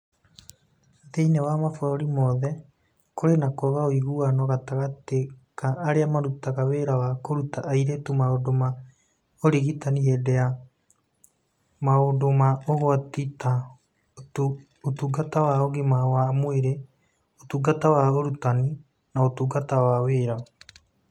Thĩinĩ wa mabũrũri mothe, kũrĩ na kwaga ũiguano gatagatĩ ka arĩa marutaga wĩra wa kũruta airĩtu maũndũ ma ũrigitani hĩndĩ ya maũndũ ma ũgwati ta Ũtungata wa Ũgima wa Mwĩrĩ, Ũtungata wa Ũrutani, na Ũtungata wa Wĩra.